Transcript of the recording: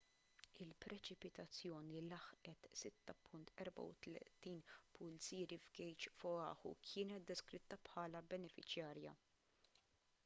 il-preċipitazzjoni li laħqet 6.34 pulzieri f'gejġ f'oahu kienet deskritta bħala benefiċjarja